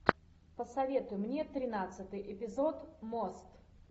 посоветуй мне тринадцатый эпизод мост